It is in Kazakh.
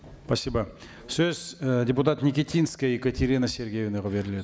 спасибо сөз і депутат нитинская екатерина сергеевнаға беріледі